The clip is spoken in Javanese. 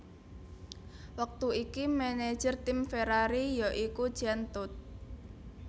Wektu iki manajer tim Ferrari ya iku Jean Todt